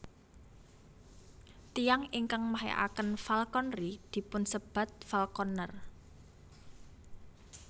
Tiyang ingkang mahyakaken falconry dipunsebat falconer